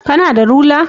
Kana da rula?